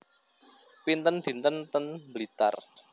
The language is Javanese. Pinten dinten ten Blitar